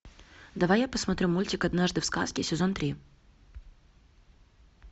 давай я посмотрю мультик однажды в сказке сезон три